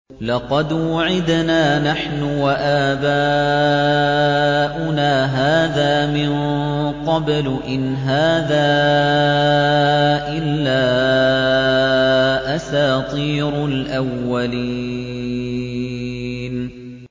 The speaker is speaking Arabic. لَقَدْ وُعِدْنَا نَحْنُ وَآبَاؤُنَا هَٰذَا مِن قَبْلُ إِنْ هَٰذَا إِلَّا أَسَاطِيرُ الْأَوَّلِينَ